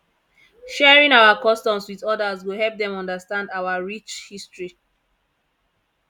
sharing our customs with others go help dem understand our rich history